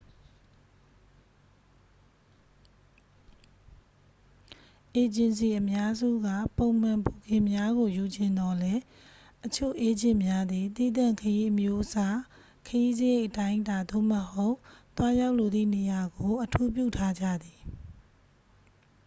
အေဂျင်စီအများစုက ပုံမှန်ဘိုကင်များကိုယူချင်သော်လဲ အချို့အေးဂျင့်များသည် သီးသန့်ခရီးအမျိုးအစား ခရီးစရိတ် အတိုင်းအတာသို့မဟုတ် သွားရောက်လိုသည့်နေရာကို အထူးပြုထားကြသည်